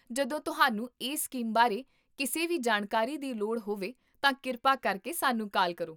ਜਦੋਂ ਤੁਹਾਨੂੰ ਇਸ ਸਕੀਮ ਬਾਰੇ ਕਿਸੇ ਵੀ ਜਾਣਕਾਰੀ ਦੀ ਲੋੜ ਹੋਵੇ ਤਾਂ ਕਿਰਪਾ ਕਰਕੇ ਸਾਨੂੰ ਕਾਲ ਕਰੋ